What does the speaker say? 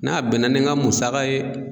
N'a bɛnna ni n ka musaka ye